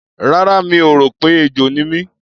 Rárá, mi ò rò pé ejò ni mí.